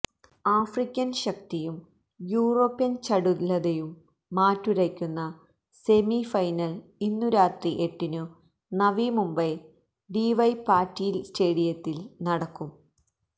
African ശക്തിയും European ചടുലതയും മാറ്റുരയ്ക്കുന്ന semifinal ഇന്നു രാത്രി എട്ടിനു നവിമുംബൈ ഡിവൈ പാട്ടീൽ സ്റ്റേഡിയത്തിൽ നടക്കും